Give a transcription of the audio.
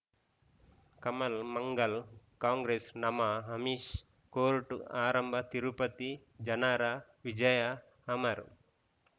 ಕಮಲ್ ಮಂಗಳ್ ಕಾಂಗ್ರೆಸ್ ನಮಃ ಅಮಿಷ್ ಕೋರ್ಟ್ ಆರಂಭ ತಿರುಪತಿ ಜನರ ವಿಜಯ ಅಮರ್